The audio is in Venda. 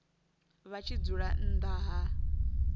vha tshi dzula nnḓa ha